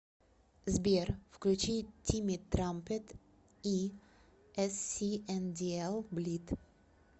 сбер включи тимми трампет и эссиэндиэл блид